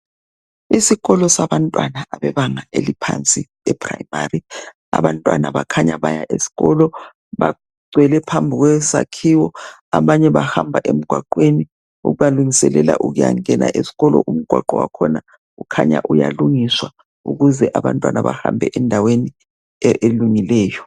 Isikolo sabantwana abebanga eliphansi lePrimary abantwana bakhanya baya esikolo bagcwele phambi kwesakhiwo abanye bahamba emgwaqweni ubalungiselela ukuyangena esikolo umgwaqo wakhona kukhanya uyalungiswa ukuze abantwana bahambe endaweni e elungileyo.